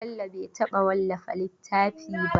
Bello bai taɓa wallafa littafi ba.